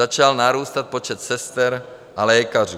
Začal narůstat počet sester a lékařů.